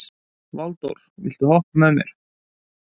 Valdór, viltu hoppa með mér?